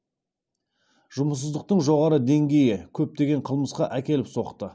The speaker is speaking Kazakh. жұмыссыздықтың жоғары деңгейі көптеген қылмысқа әкеліп соқты